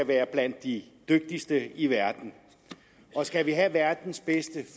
være blandt de dygtigste i verden skal vi have verdens bedste